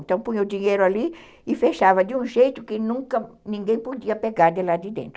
Então, punha o dinheiro ali e fechava de um jeito que ninguém podia pegar de lá de dentro.